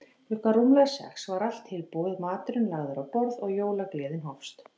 Klukkan rúmlega sex var allt tilbúið, maturinn lagður á borð og jólagleðin hófst.